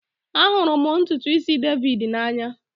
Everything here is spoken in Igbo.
Ahụrụ m ntutu isi David n'anya